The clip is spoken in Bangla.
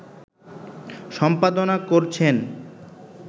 সম্পাদনা করছেন